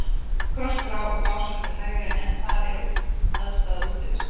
Krossá og Básar til hægri, en þar er aðstaða Útivistar.